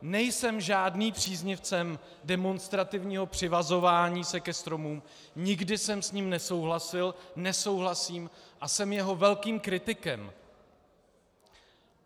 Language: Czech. Nejsem žádným příznivcem demonstrativního přivazování se ke stromům, nikdy jsem s ním nesouhlasil, nesouhlasím a jsem jeho velkým kritikem.